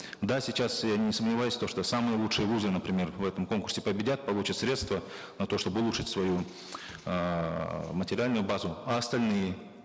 да сейчас я не сомневаюсь то что самые лучшие вузы например в этом конкурсе победят получат средства на то чтобы улучшить свою эээ материальную базу а остальные